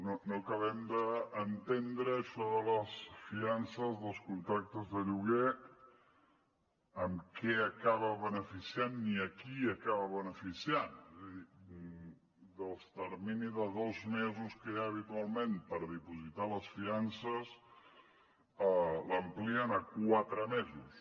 no no acabem d’entendre això de les fiances dels contractes de lloguer amb què acaba beneficiant ni a qui acaba beneficiant és a dir el termini de dos mesos que hi ha habitualment per depositar les fiances l’amplien a quatre mesos